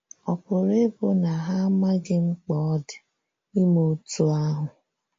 Ọ̀ pụrụ ịbụ na ha amaghị mkpa ọ dị ime otú ahụ?